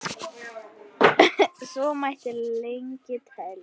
Svo mætti lengi telja.